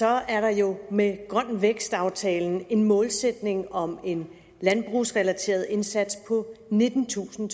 er der jo med grøn vækst aftalen en målsætning om en landbrugsrelateret indsats på nittentusind